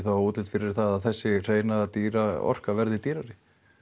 útlit fyrir að þessi hreina dýra orka verði dýrari